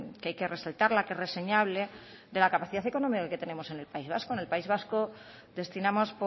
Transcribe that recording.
que hay que resaltarla que es reseñable de la capacidad económica que tenemos en el país vasco en el país vasco destinamos